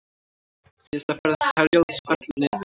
Síðasta ferð Herjólfs fellur niður